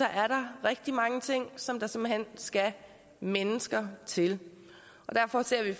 er der rigtig mange ting som der simpelt hen skal mennesker til og derfor ser vi